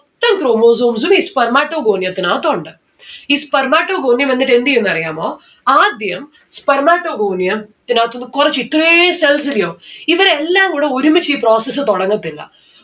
ത്തം chromosomes ഉം ഈ spermatogonium ത്തിന് അകത്തുണ്ട്. ഈ spermatogonium എന്നിട്ട് എന്തെയ്യുംന്ന് അറിയാമോ ആദ്യം spermatogonium ത്തിനകത്തിന്ന് കൊറച്ച് ഇത്രേം cells ഇല്ല്യോ ഇവിടെ എല്ലാം കൂടെ ഒരുമിച്ച് ഈ process തൊടങ്ങത്തില്ല